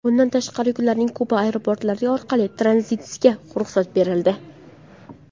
Bundan tashqari, yuklarning Kuba aeroportlari orqali tranzitiga ruxsat berildi.